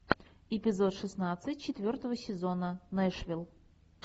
эпизод шестнадцать четвертого сезона нэшвилл